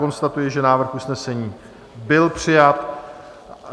Konstatuji, že návrh usnesení byl přijat.